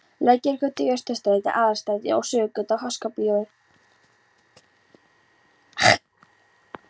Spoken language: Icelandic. Lækjargötu, Austurstræti, Aðalstræti og Suðurgötu að Háskólabíói.